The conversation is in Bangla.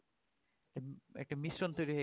একটা মিশ্রণ তৈরি হয়ে